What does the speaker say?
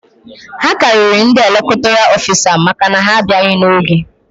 A karịrị ndị elektoral ofisa maka na ha abịaghị n'oge